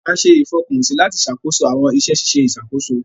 A ṣe ìfọkànsí lati ṣàkóso awọn iṣẹ ṣiṣe ìṣàkóso.